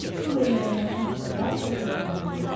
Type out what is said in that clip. Şumer mədəniyyəti haqqında təqdimat hazırlayın.